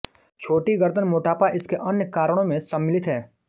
छोटी गरदन मोटापा इसके अन्य कारणो में सम्मिलित है